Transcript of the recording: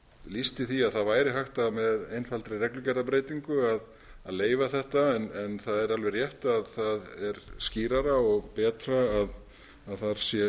lýsti því að það væri hægt með einfaldri reglugerðarbreytingu að leyfa þetta en það er rétt að það er skýrara og betra að þar sé